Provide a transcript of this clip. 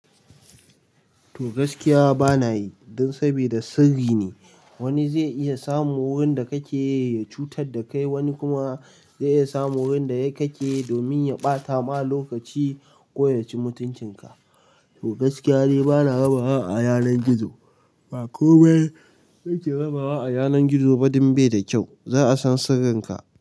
To gaskiya bana yi, don sabida sirri ne. Wani zai iya samun wurin da kake yi ya cutar da kai, wani kuma zai iya samun wurin da ya kake domin ya ɓata ma lokaci ko ya ci mutuncinka. To gaskiya ni bana yawan hawa yanar gizo. Ba komai ake rabawa a yanar gizo ba dan bai da kyau. Za a san sirrinka.